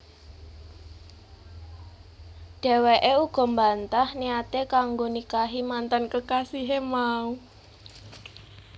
Dheweké uga mbantah niaté kanggo nikahi mantan kekasihé mau